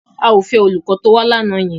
Àwa ò fẹ́ olùkọ́ tó wá lánàá yẹn.